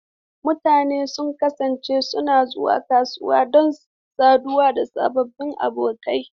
Mutane sun kasance suna zuwa kasuwa don saduwa da sababbin abokai.